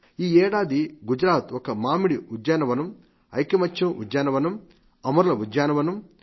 ఈ ఏడాది గుజరాత్ ఒక మామిడి ఉద్యానవనం ఐకమత్య ఉద్యానవనం అమరుల ఉద్యానవనం